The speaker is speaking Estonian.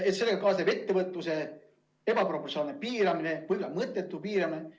Kõige sellega kaasneb ettevõtluse ebaproportsionaalne piiramine, mõttetu piiramine.